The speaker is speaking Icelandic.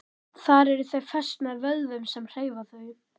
Þar eru þau fest með vöðvum sem hreyfa þau.